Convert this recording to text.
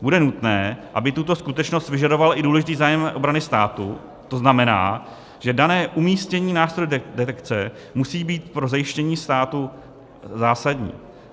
Bude nutné, aby tuto skutečnost vyžadoval i důležitý zájem obrany státu, to znamená, že dané umístění nástrojů detekce musí být pro zajištění státu zásadní.